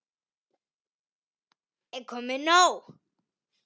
Er komið nóg?